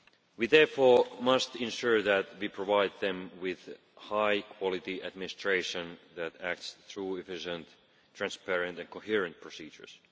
We therefore must ensure that we provide them with high quality administration that acts through efficient, transparent and coherent procedures.